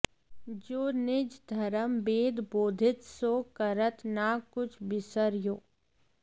जो निज धरम बेदबोधित सो करत न कछु बिसर् यो